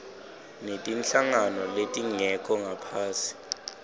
netinhlangano letingekho ngaphasi